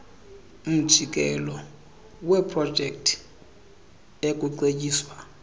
mjikelo weeprojekthi ekuceetyiswa